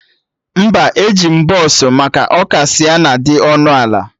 Mba, eji m bọsụ maka ọ ka Sịenna dị ọnụ ala